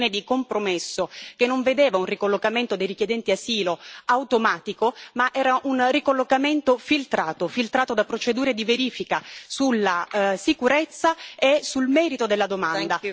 Una soluzione di compromesso che non vedeva un ricollocamento dei richiedenti asilo automatico, ma era un ricollocamento filtrato, filtrato da procedure di verifica sulla sicurezza e sul merito della domanda.